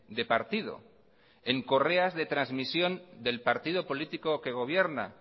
de partido en correas de transmisión del partido político que gobierna